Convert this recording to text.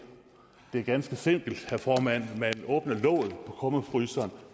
det er ganske simpelt herre formand man åbner låget på kummefryseren